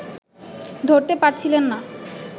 ধরতে পারছিলেন না